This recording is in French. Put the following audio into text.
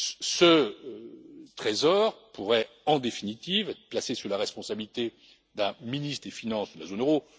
Ce Trésor pourrait, en définitive, être placé sous la responsabilité d'un ministre des finances de la zone euro.